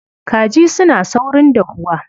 Kaji suna saurin dahuwa.